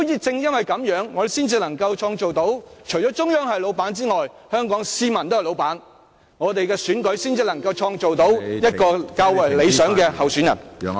正因如此，我們才能達致特首既要向中央有所交代，亦要對香港市民有所交代，我們的選舉......才能促成較為理想的候選人參選。